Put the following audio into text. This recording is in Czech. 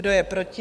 Kdo je proti?